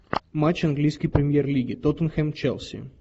матч английской премьер лиги тоттенхэм челси